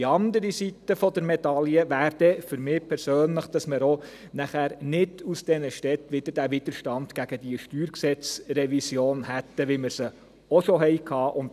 Die andere Seite der Medaille wäre, für mich persönlich, dass man von den Städten nicht wieder diesen Widerstand gegen diese StG-Revision hätte, wie wir ihn auch schon hatten.